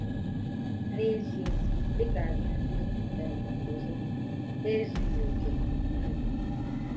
N'ezie, dị ka anyị ndị um ọzọ, ha ezughị okè. um